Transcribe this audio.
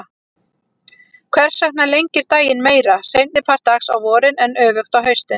Hvers vegna lengir daginn meira seinni part dags á vorin en öfugt á haustin?